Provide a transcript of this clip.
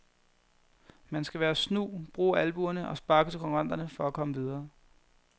Man skal være snu, bruge albuerne og sparke til konkurrenterne for at komme videre.